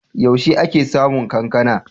Yaushe ake samun kankana?